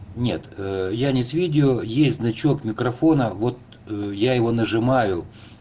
нет я не с видео есть значок микрофона вот я его нажимаю